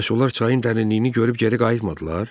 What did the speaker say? Bəs onlar çayın dərinliyini görüb geri qayıtmadılar?